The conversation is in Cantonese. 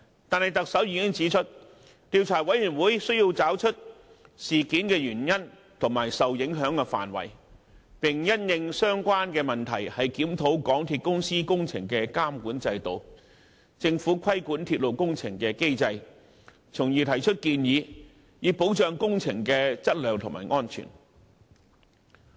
不過，特首已經指出，調查委員會須找出事件的原因和受影響範圍，並因應相關問題檢討港鐵公司工程的監管制度、政府規管鐵路工程的機制，從而提出建議，以保障工程的質量和安全。